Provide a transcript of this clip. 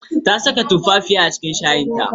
Ta saka tumfafiya a cikin shayin ta.